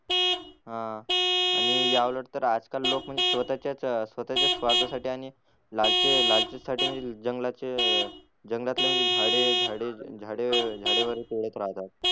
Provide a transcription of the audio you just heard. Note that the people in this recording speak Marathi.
हा आणि या उलट तर आजकाल लोक स्वतःच्याच स्वतःच्याच स्वार्थासाठी आणि लालची लालची साठी म्हणजे जंगलाचे जंगलातले म्हणजे झाडे झाडे झाडे वगैरे तोडत राहतात.